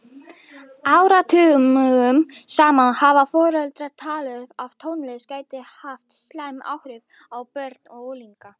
Áratugum saman hafa foreldrar talið að tónlist gæti haft slæm áhrif á börn og unglinga.